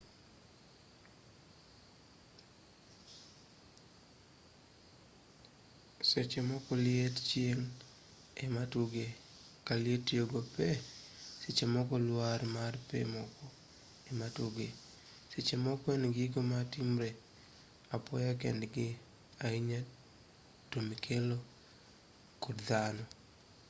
sechemoko liet chieng' ematuge kaliet goyo pee sechemoko lwar mar pee moko ematuge sechemoko en gigo matimre apoya kendgi ahinya tomikelo kod dhano